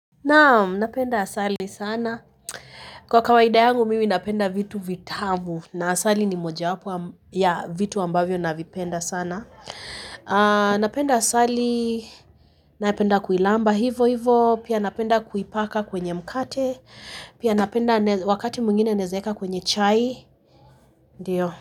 Naam, napenda asali sana. Kwa kawaida yangu, mimi napenda vitu vitamu. Na asali ni moja wapo ya vitu ambavyo navipenda sana. Napenda asali, napenda kuilamba, hivo hivo. Pia napenda kuipaka kwenye mkate. Pia napenda wakati mwingine naezeeka kwenye chai. Ndiyo.